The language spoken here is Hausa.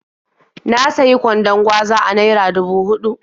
Na sayi kwandon gwaza a naira dubu huɗu.